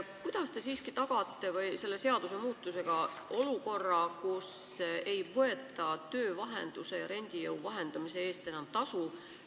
Kuidas te tagate selle seadusmuutusega siiski sellise olukorra, et enam ei võeta töövahenduse ja renditööjõu vahendamise eest tasu?